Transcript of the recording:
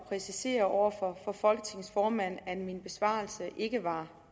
præcisere over for folketingets formand at min besvarelse ikke var